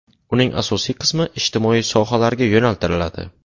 Uning asosiy qismi ijtimoiy sohalarga yo‘naltiriladi.